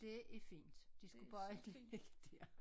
Det er fint de skulle bare ikke ligge dér